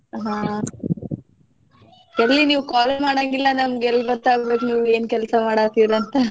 ಹಾ ಎಲ್ಲಿ ನೀವ್ call ಮಾಡಂಗಿಲ್ಲ ನಮ್ಗ ಎಲ್ಲಿ ಗೊತ್ತ ಆಗ್ಬೇಕ್ ನಿಮ್ಗ ಏನ್ ಕೆಲ್ಸ ಮಾಡಾಕತ್ತಿರಿ ಅಂತ.